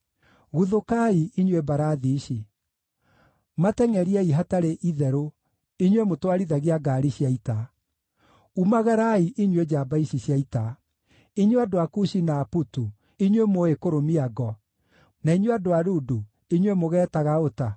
Guthũkai, inyuĩ mbarathi ici! Matengʼeriei hatarĩ itherũ, inyuĩ mũtwarithagia ngaari cia ita. Umagarai, inyuĩ njamba ici cia ita: inyuĩ andũ a Kushi na a Putu, inyuĩ mũũĩ kũrũmia ngo, na inyuĩ andũ a Ludu, inyuĩ mũgeetaga ũta.